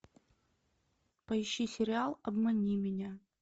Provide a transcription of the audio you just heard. поищи сериал обмани меня